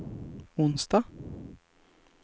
onsdag